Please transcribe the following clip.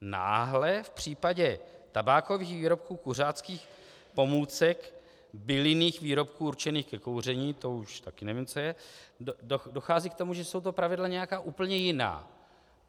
Náhle v případě tabákových výrobků, kuřáckých pomůcek, bylinných výrobků určených ke kouření - to už taky nevím, co je - dochází k tomu, že jsou to pravidla nějaká úplně jiná.